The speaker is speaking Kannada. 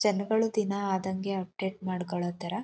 ಜನಗಳು ದಿನಾ ಆದಂಗೆ ಅಪ್ಡೇಟ್ ಮಾಡ್ಕೊಳ್ಳೋ ತರ.